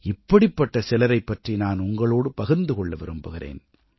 இப்படிப்பட்ட சிலரைப் பற்றி நான் உங்களோடு பகிர்ந்து கொள்ள விரும்புகிறேன்